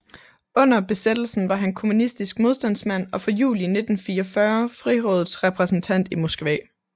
Under besættelsen var han kommunistisk modstandsmand og fra juli 1944 Frihedsrådets repræsentant i Moskva